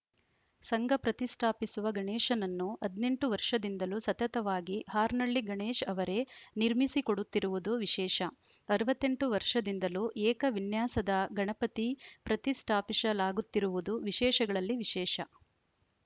ಸಂಘ ಪ್ರತಿಷ್ಠಾಪಿಸುವ ಗಣೇಶನನ್ನು ಹದಿನೆಂಟು ವರ್ಷದಿಂದಲೂ ಸತತವಾಗಿ ಹಾರ್ನಳ್ಳಿ ಗಣೇಶ್‌ ಅವರೇ ನಿರ್ಮಿಸಿಕೊಡುತ್ತಿರುವುದು ವಿಶೇಷ ಅರವತ್ತ್ ಎಂಟು ವರ್ಷದಿಂದಲೂ ಏಕವಿನ್ಯಾಸದ ಗಣಪತಿ ಪ್ರತಿಷ್ಠಾಪಿಸಲಾಗುತ್ತಿರುವುದು ವಿಶೇಷಗಳಲ್ಲಿ ವಿಶೇಷ